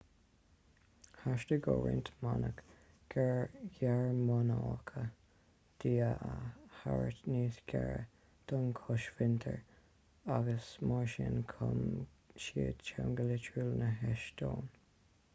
theastaigh ó roinnt manaigh ghearmánacha dia a thabhairt níos gaire don chosmhuintir agus mar sin chum siad teanga litriúil na heastóine